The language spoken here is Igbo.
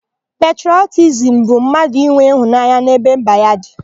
Petrọtizimu bụ mmadụ inwe ịhụnanya n'ebe mba ya dị.